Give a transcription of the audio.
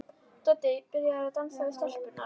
Doddi er byrjaður að dansa við stelpurnar.